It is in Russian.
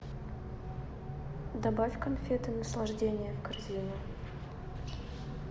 добавь конфеты наслаждение в корзину